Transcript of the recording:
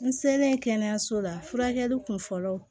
N selen kɛnɛyaso la furakɛli kun fɔlɔ